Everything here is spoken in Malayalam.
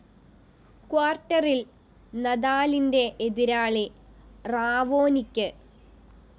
ക്വാര്‍ട്ടറില്‍ നദാലിന്റെ എതിരാളി റാവോനിക്ക്